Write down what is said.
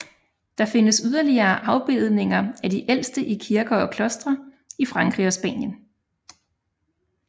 Der findes yderligere afbildninger af de ældste i kirker og klostre i Frankrig og Spanien